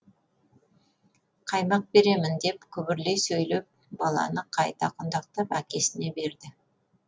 қаймақ беремін деп күбірлей сөйлеп баланы қайта құндақтап әкесіне берді